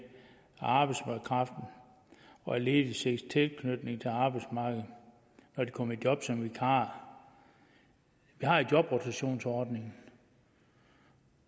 arbejdskraften og lediges tilknytning til arbejdsmarkedet når de kommer i job som vikarer vi har jo jobrotationsordningen